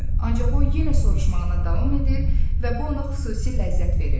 Ancaq o yenə soruşmağına davam edir və bu ona xüsusi ləzzət verirdi.